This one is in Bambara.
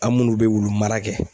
Aw minnu be wulu mara kɛ